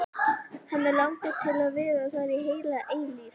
Hana langar til að vera þar heila eilífð.